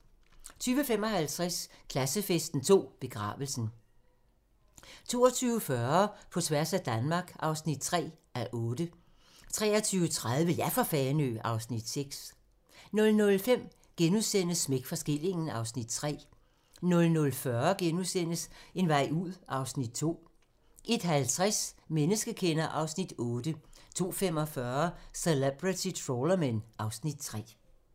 20:55: Klassefesten 2: Begravelsen 22:40: På tværs af Danmark (3:8) 23:30: Ja for Fanø! (Afs. 6) 00:05: Smæk for skillingen (Afs. 3)* 00:40: En vej ud (Afs. 2)* 01:50: Menneskekender (Afs. 8) 02:45: Celebrity Trawlermen (Afs. 3)